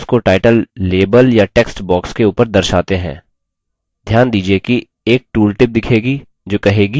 mouse को title label या text box के ऊपर दर्शाते हैं